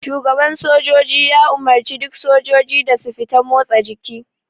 Shugaban sojoji ya umarce duk sojiji da su fita motsa jiki.